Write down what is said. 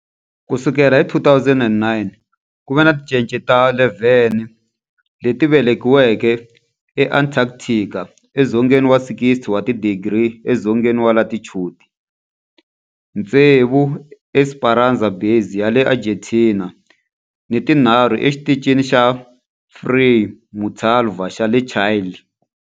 Ku sukela hi 2009, ku ve ni tincece ta 11 leti velekiweke eAntarctica, edzongeni wa 60 wa tidigri edzongeni wa latitude, tsevu eEsperanza Base ya le Argentina ni tinharhu eXitichini xa Frei Montalva xa le Chile.